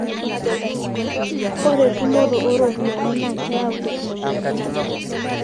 ore tumoto ooropyiani naa keyau teknologia